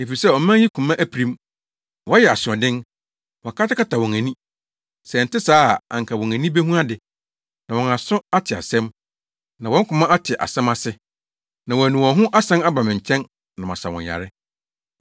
Efisɛ ɔman yi koma apirim. Wɔyɛ asoɔden; wɔakatakata wɔn ani. Sɛ ɛnte saa a anka wɔn ani behu ade, na wɔn aso ate asɛm na wɔn koma ate asɛm ase, na wɔanu wɔn ho asan aba me nkyɛn na masa wɔn yare.’